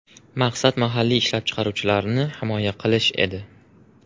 Maqsad mahalliy ishlab chiqaruvchilarni himoya qilish edi.